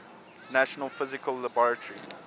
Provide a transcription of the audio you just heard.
national physical laboratory